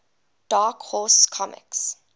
dark horse comics